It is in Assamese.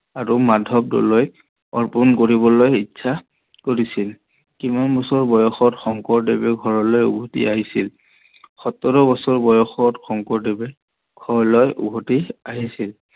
আৰু মাধৱ ডলৈক অৰ্পন কৰিবলৈ ইচ্ছা কৰিছিল। কিমান বছৰ বয়সত শংকৰদেৱ ঘৰলৈ উভতি আহিছিল? সোতৰ বছৰ বয়সত শংকৰদেৱ ঘৰলৈ উভতি আহিছিল